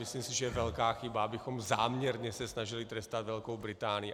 Myslím si, že je velká chyba, abychom záměrně se snažili trestat Velkou Británii.